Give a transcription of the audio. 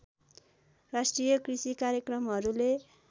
राष्ट्रिय कृषि कार्यक्रमहरूले